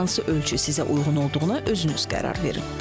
Hansı ölçü sizə uyğun olduğuna özünüz qərar verin.